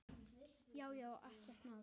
Já já, ekkert mál.